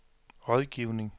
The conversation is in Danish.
rådgivning